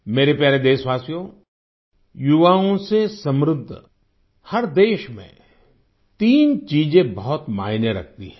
मेरे प्यारे देशवासियो युवाओं से समृद्ध हर देश में तीन चीजें बहुत मायने रखती हैं